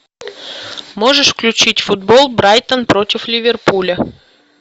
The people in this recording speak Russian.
можешь включить футбол брайтон против ливерпуля